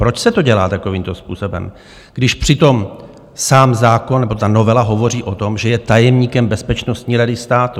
Proč se to dělá takovýmto způsobem, když přitom sám zákon nebo ta novela hovoří o tom, že je tajemníkem Bezpečnostní rady státu?